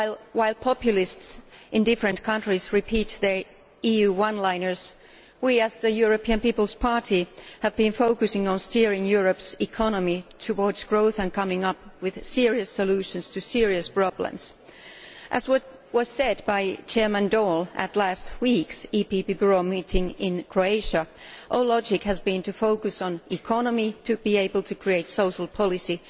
While populists in different countries repeat their EU one liners, we in the European People's Party have been focusing on steering Europe's economy towards growth and coming up with serious solutions to serious problems. As was said by Chairman Daul at last week's EPP Bureau Meeting in Croatia, our logic has been to focus on the economy in order to be able to create social policy